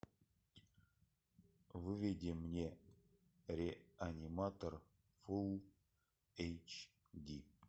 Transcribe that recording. выведи мне реаниматор фул эйч ди